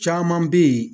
Caman bɛ yen